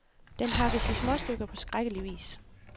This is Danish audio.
Den hakkes i småstykker på skrækkelig vis.